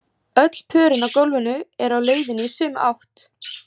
Öll pörin á gólfinu eru á leiðinni í sömu átt.